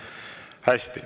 Hästi.